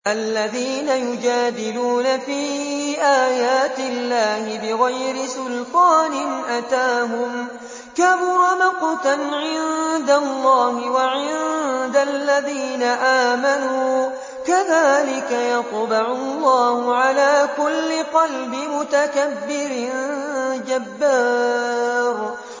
الَّذِينَ يُجَادِلُونَ فِي آيَاتِ اللَّهِ بِغَيْرِ سُلْطَانٍ أَتَاهُمْ ۖ كَبُرَ مَقْتًا عِندَ اللَّهِ وَعِندَ الَّذِينَ آمَنُوا ۚ كَذَٰلِكَ يَطْبَعُ اللَّهُ عَلَىٰ كُلِّ قَلْبِ مُتَكَبِّرٍ جَبَّارٍ